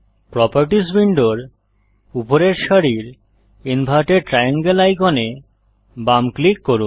properties উইন্ডোর উপরের সারির ইনভার্টেড ট্রায়াঙ্গেল আইকনে বাম ক্লিক করুন